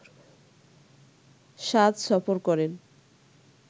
শাদ সফর করেন